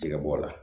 Jɛgɛbɔ la